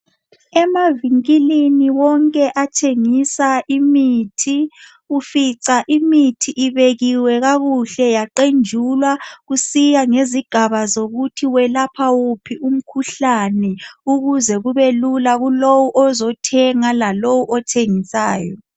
Emavinkilini wonke athengisa imithi ufica imithi ibekiwe kakuhle yaqenjulwa kusiya ngezigaba zokuthi welapha wuphi umkhuhlane ukuze kube lula kulowo ozothenga lalowo othengisayo.